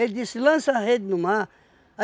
disse, lança a rede no mar.